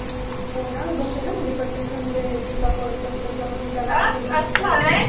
हो ना, मी बघते ना, म्हणजे प्रत्येकजण हे टिकटॉक वरंच असतं किंवा मग इंस्टाग्राम वर असतं.